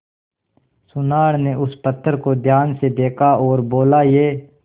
सुनार ने उस पत्थर को ध्यान से देखा और बोला ये